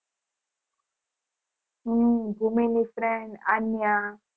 હું ભૂમિ ની friend આન્યા